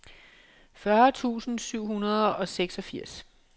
fyrre tusind syv hundrede og seksogfirs